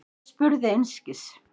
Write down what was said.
Ég spurði einskis.